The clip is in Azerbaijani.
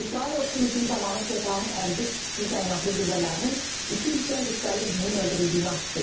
İsrail ordusu hücum zamanı Sepahın Əl-Qüds xüsusi təyinatlı qüvvələrinin iki yüksək rütbəli üzvünün öldürüldüyünü açıqlayıb.